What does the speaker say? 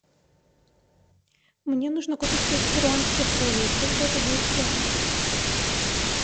мне нужно купить пять перуанских солей сколько это будет в реалах